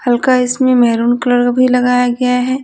हल्का इसमें maroon colour भी लगाया गया है।